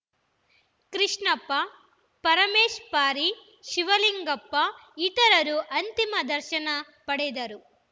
ಕೃಷ್ಣಪ್ಪ ಪರಮೇಶ್‌ ಪಾರಿ ಶಿವಲಿಂಗಪ್ಪ ಇತರರು ಅಂತಿಮ ದರ್ಶನ ಪಡೆದರು